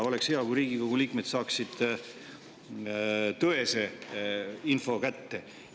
Oleks hea, kui Riigikogu liikmed saaksid tõese info kätte.